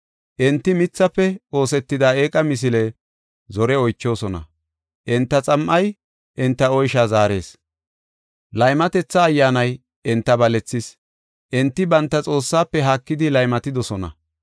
Enti mithafe oosetida eeqa misile zore oychoosona; enta xam7ay enta oysha zaarees. Laymatetha ayyaanay enta balethis; enti banta Xoossaafe haakidi laymatidosona.